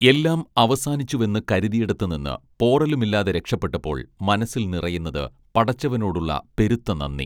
എല്ലാം അവസാനിച്ചുവെന്ന് കരുതിയിടത്തു നിന്ന് പോറലുമില്ലാതെ രക്ഷപ്പെട്ടപ്പോൾ മനസ്സിൽ നിറയുന്നത് പടച്ചവനോടുള്ള പെരുത്ത നന്ദി